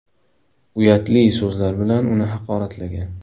uyatli so‘zlar bilan uni haqoratlagan.